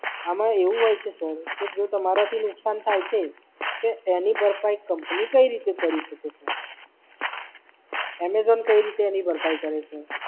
આમાં એવું હોય છે Sir કે જો તમારાથી નુકસાન થાય છે, તો એની ભરપાઈ કંપની કઈ રીતે કરી શકે Sir Amazon કઈ રીતે એની ભરપાઈ કરે Sir